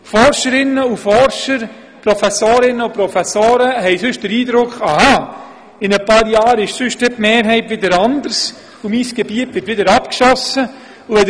Forscherinnen und Forscher, Professorinnen und Professoren könnten sonst den Eindruck erhalten, in ein paar Jahren könnten die Mehrheiten vielleicht wieder anders sein und ihr Gebiet könnte dann wieder «abgeschossen» werden.